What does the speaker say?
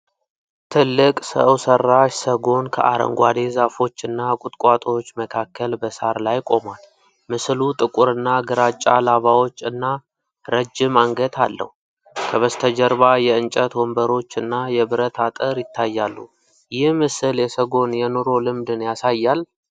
ትልቅ ሰው ሰራሽ ሰጎን ከአረንጓዴ ዛፎች እና ቁጥቋጦዎች መካከል በሣር ላይ ቆሟል። ምስሉ ጥቁርና ግራጫ ላባዎች እና ረጅም አንገት አለው። ከበስተጀርባ የእንጨት ወንበሮች እና የብረት አጥር ይታያሉ። ይህ ምስል የሰጎን የኑሮ ልምድን ያሳያል?